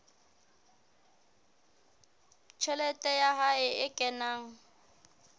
tjhelete ya hae e kenang